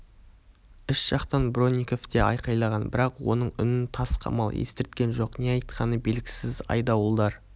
іш жақтан бронников те айқайлаған бірақ оның үнін тас қамал естірткен жоқ не айтқаны белгісіз айдауылдар